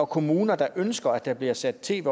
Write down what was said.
kommuner der ønsker at der bliver sat tv